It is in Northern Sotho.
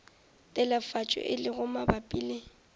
telefatšo e lego mabapi le